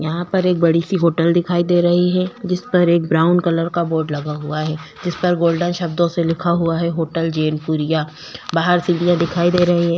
यहाँ पर एक बड़ी सी होटल दिखाई दे रही है जिस पर एक ब्राउन कलर का बोर्ड लगा हुआ है जिस पर गोल्डन शब्दों से लिखा हुआ है होटल जैनपुरिया बाहर सीढ़ियां दिखाई दे रही है।